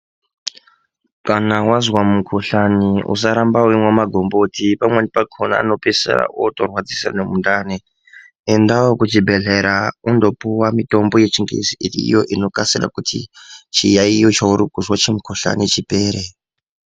Kana wazwa mukuhlani usaramba weimwa magomboti pamweni pakona anopedzisira otorwadzisa nemundani endawo kuchibhedhlera undopuwa mitombo yechingezi iriyo inokasira kuti chiyayiyo chauri kuzwa chimukohlani chipere.